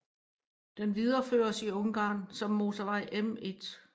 Den videreføres i Ungarn som motorvej M1